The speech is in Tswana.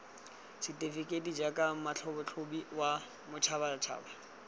setefekeiti jaaka motlhatlhobi wa boditšhabatšhaba